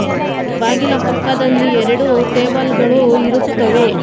ಬಾಗಿಲ ಪಕ್ಕದಲ್ಲಿ ಎರಡು ಟೇಬಲ್ ಗಳು ಇರುತ್ತವೆ.